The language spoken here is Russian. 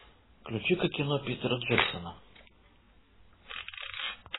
включи ка кино питера джексона